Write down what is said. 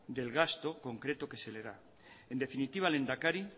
del gasto concreto que se le da en definitiva lehendakari